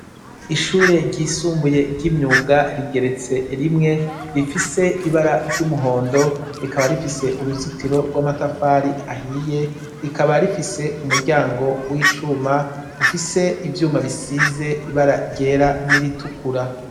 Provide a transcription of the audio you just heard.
Ishure ryisumbuye ry'imyuga rigeretse rimwe rifise ibara ry'umuhondo rikaba rifise uruzitiro rw'amatafari ahiye rikaba rifise umuryango w'icuma ufise ivyuma bisize ibara ryera n'iritukura.